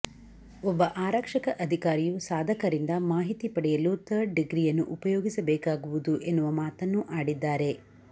ಒಬ್ಬ ಆರಕ್ಷಕ ಅಧಿಕಾರಿಯು ಸಾಧಕರಿಂದ ಮಾಹಿತಿ ಪಡೆಯಲು ಥರ್ಡಡಿಗ್ರಿಯನ್ನು ಉಪಯೋಗಿಸಬೇಖಾಗುವುದು ಎನ್ನುವ ಮಾತನ್ನೂ ಆಡಿದ್ದಾರೆ